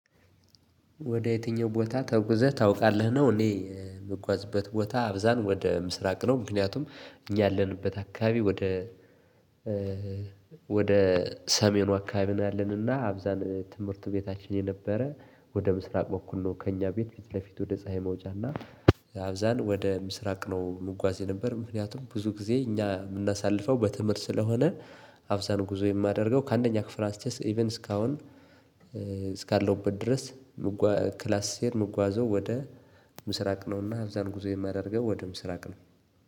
ወደ የትኛው ቦታ ተጉዘህ ታውቃለህ ነው? እኔ የምጓዝበት ቦታ አብዛን ወደ ምስራቅ ነው። ምክንያቱም ያለንበት አካባቢ ወደ ወደ ሰሜኑ አካባቢ ነው ያለንና አብዛን ትምህርት ቤታችን የነበረ ወደ ምስራቅ በኩል ነው። ከእኛ ቤት ፊት ለፊት ወደ ፀሀይ መውጫና አብዛን ወደ ምስራቅ ነው ምጓዝ የነበር ምክንያቱም ብዙ ጊዜ እኛ የምናሳልፈው በትምህርት ስለሆነ። አብዛኛው ጉዞ የማደርገው ከአንደኛ ክፍል አንስቼ ኢቭን እስካሁን እስካለሁበት ድረስ። ክላስ ስሄድ ምጓዘው ወደ ምስራቅ ነውና እዛም ጉዞ የማደርገው ወደ ምስራቅ ነው።